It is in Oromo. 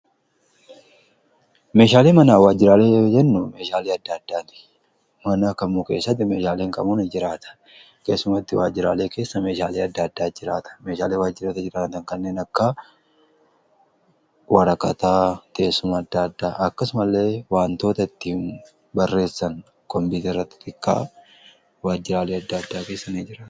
meeshaalii manaa waajjiraalee yommuu jennu meeshaalee adda addaati. manaa kamu keessatti meeshaaleen kamuu ni jiraata. keessumattuu waajjiraalee keessa meeshaalee adda addaa jiraata. meeshaalee waajjiroota jiraatan kanneen akka waraqataa, teessuma adda addaa akkasuma illee waantoota itti barreessan kompiitara kan waajjiraalii adda addaa keessa ni jiraata.